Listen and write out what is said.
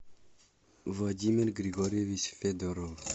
владимир григорьевич федоров